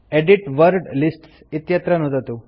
edit word lists इत्यत्र नुदतु